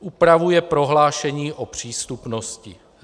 Upravuje prohlášení o přístupnosti.